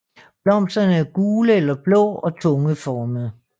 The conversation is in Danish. Blomsterne er gule eller blå og tungeformede